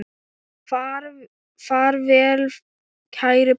Far vel kæri bróðir.